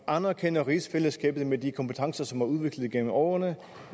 anerkender rigsfællesskabet med de kompetencer som er udviklet gennem årene